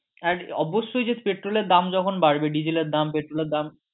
এক অবশ্যই যে পেট্রোল এর দাম যখন বাড়বে ডিজেল এর দাম পেট্রোল এর দাম